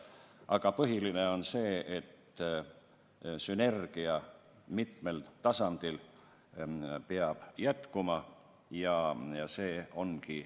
Aga põhiline on see, et sünergia mitmel tasandil peab püsima, ja nii see ongi.